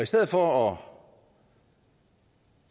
stedet for